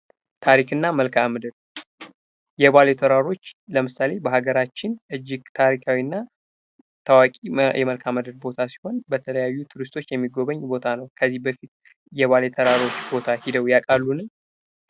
ታሪክና መልካምድር የባሌ ተራራዎች ለምሳሌ በሀገራችን እጅግ ታሪካዊና ታዋቂ የመልካምድር ቦታ ሲሆን በተለያዩ ቱሪስቶች የሚጎበኝ ቦታ ነው ። ከዚህ በፊት የባሌ ተራሮች ቦታ ሂደው ያውቃሉን?